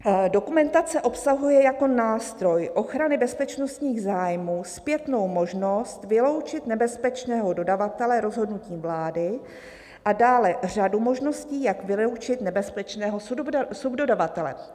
"Dokumentace obsahuje jako nástroj ochrany bezpečnostních zájmů zpětnou možnost vyloučit nebezpečného dodavatele rozhodnutím vlády a dále řadu možností, jak vyloučit nebezpečného subdodavatele."